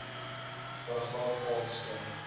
paragraaf a beskryf